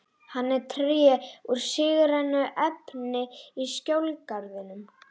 Hann er tré úr sígrænu efni í Skjól-garðinum.